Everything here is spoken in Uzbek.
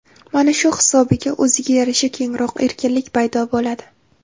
Mana shu hisobiga, o‘ziga yarasha kengroq erkinlik paydo bo‘ladi.